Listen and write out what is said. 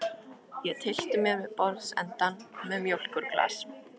Ég tyllti mér við borðsendann með mjólkurglas.